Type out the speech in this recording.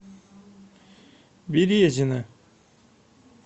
березина